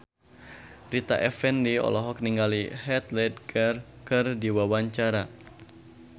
Rita Effendy olohok ningali Heath Ledger keur diwawancara